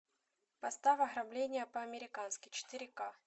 поставь ограбление по американски четыре к